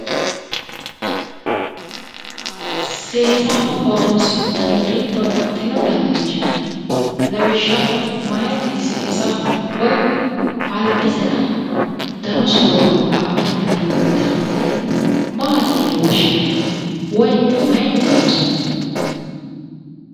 Seesaho horoonsi'nanniri babbaxxino danirichi no lawishaho meyaati seesaho woyi albisera danu soorro abbate buudhitannore maati yine woshinanni woyi mayinni loonsanni